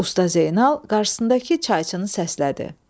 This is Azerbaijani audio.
Usta Zeynal qarşısındakı çayçını səslədi.